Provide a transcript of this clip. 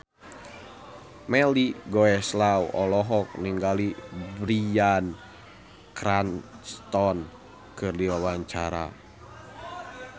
Melly Goeslaw olohok ningali Bryan Cranston keur diwawancara